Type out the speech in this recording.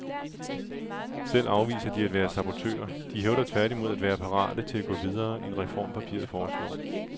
Selv afviser de at være sabotører, de hævder tværtimod at være parate til at gå videre end reformpapiret foreslår.